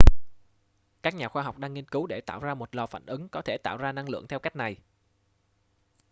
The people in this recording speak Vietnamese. các nhà khoa học đang nghiên cứu để tạo ra một lò phản ứng có thể tạo ra năng lượng theo cách này